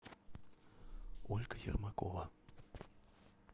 ольга ермакова